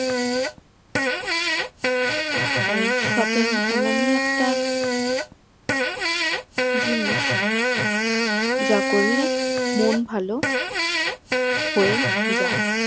তাই shopping এমনই একটা জিনিস যা করলে মন ভালো হয়ে যাই